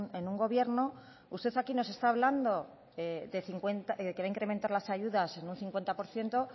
en un gobierno usted aquí nos está hablando que va a incrementar las ayudas en un cincuenta por ciento